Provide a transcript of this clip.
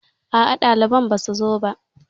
Aa, ɗaliban basu zo ba